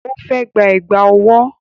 Ó fẹ́ gba Ẹ̀gbá ọwọ́